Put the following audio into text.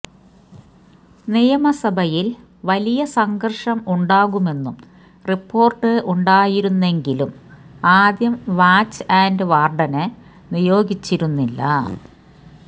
നിയമസഭയില് വലിയ സംഘര്ഷം ഉണ്ടാകുമെന്ന് റിപ്പോര്ട്ട് ഉണ്ടായിരുന്നെങ്കിലും ആദ്യം വാച്ച് അന്റ് വാര്ഡിനെ നിയോഗിച്ചിരുന്നില്ല